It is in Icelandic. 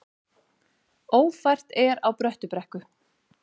Ófært er á Bröttubrekku